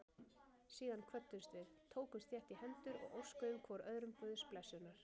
Síðan kvöddumst við, tókumst þétt í hendur og óskuðum hvor öðrum Guðs blessunar.